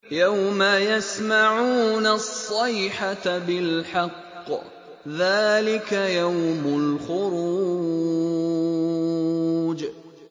يَوْمَ يَسْمَعُونَ الصَّيْحَةَ بِالْحَقِّ ۚ ذَٰلِكَ يَوْمُ الْخُرُوجِ